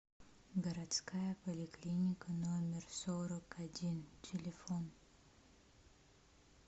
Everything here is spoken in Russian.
городская поликлиника номер сорок один телефон